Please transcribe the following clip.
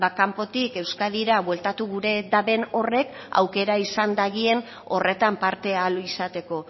kanpotik euskadira bueltatu gure daben horrek aukera izan dagien horretan parte ahal izateko